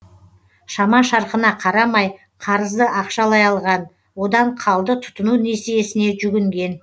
шама шарқына қарамай қарызды ақшалай алған одан қалды тұтыну несиесіне жүгінген